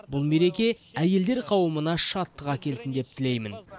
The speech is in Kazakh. бұл мереке әйелдер қауымына шаттық әкелсін деп тілеймін